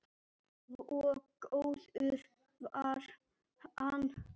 Svo góður var hann.